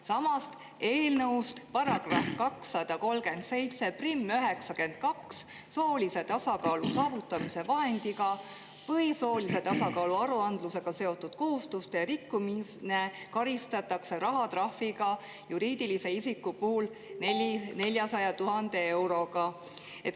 Samas, eelnõu § 23792 "Soolise tasakaalu saavutamise vahendiga või soolise tasakaalu aruandlusega seotud kohustuse rikkumine" ütleb, et juriidilist isikut karistatakse rahatrahviga 400 000 eurot.